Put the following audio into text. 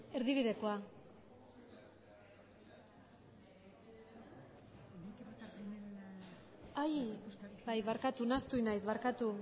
erdibidekoa bai barkatu nahastu egin naiz barkatu